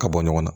Ka bɔ ɲɔgɔn na